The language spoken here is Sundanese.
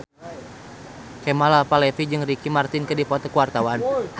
Kemal Palevi jeung Ricky Martin keur dipoto ku wartawan